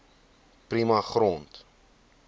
prima grond